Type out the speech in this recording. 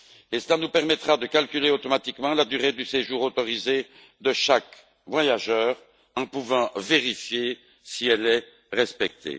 Cela nous permettra de calculer automatiquement la durée du séjour autorisé de chaque voyageur et de vérifier si elle est respectée.